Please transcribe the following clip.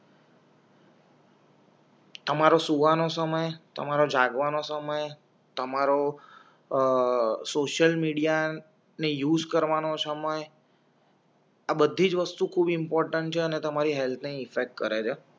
તમારો સૂવાનો સમય તમારાં જાગવાનો સમય તમારો શોસયલ મિડીયાને યુઝ કરવાનો સમય આ બધીજ વસ્તુ ખૂબ ઇમ્પોર્ટન્ટ છે અને તમારી હેલ્થ ને ઇફેક્ટ કરે છે.